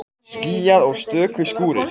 Skýjað og stöku skúrir